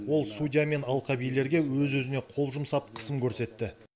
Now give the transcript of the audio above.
ол судья мен алқабилерге өз өзіне қол жұмсап қысым көрсетті